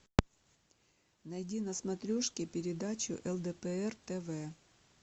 найди на смотрешке передачу лдпр тв